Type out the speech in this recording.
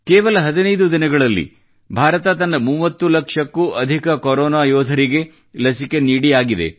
ಕೇವಲ 15 ದಿನಗಳಲ್ಲಿ ಭಾರತ ತನ್ನ 30 ಲಕ್ಷಕ್ಕೂ ಅಧಿಕ ಕೊರೋನಾ ಯೋಧರಿಗೆ ಲಸಿಕೆ ನೀಡಿಯಾಗಿದೆ